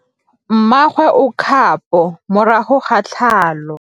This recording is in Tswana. Mmagwe o kgapô morago ga tlhalô.